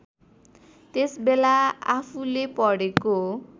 त्यसबेला आफूले पढेको